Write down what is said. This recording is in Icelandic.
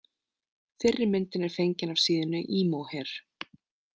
Fyrri myndin er fengin af síðunni Emo hair.